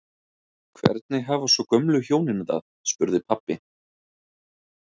Hvernig hafa svo gömlu hjónin það? spurði pabbi.